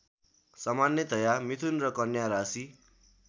सामान्यतया मिथुन र कन्या राशि